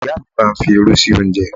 Ìyá mi máa ń fi'rú sí oúnjẹ.